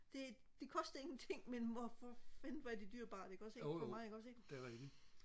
det det koster ingenting men hvor for fanden hvor er det dyrebart ikke også ikke for mig ikke også ikke